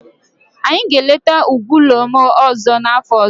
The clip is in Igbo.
Anyị ga-eleta ugwu Olumo ọzọ n'afọ ọzọ.